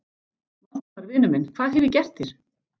Valdimar, vinur minn, hvað hef ég gert þér?